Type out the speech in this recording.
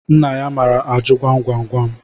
Nna ya maara ajụ gwam gwam gwam